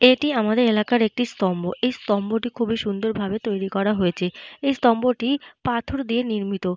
এটি আমাদের এলাকার একটি স্তম্ভ। এই স্তম্ভটি খুবই সুন্দর ভাবে তৈরি করা হয়েছে। এই স্তম্ভটি পাথর দিয়ে নির্মিত।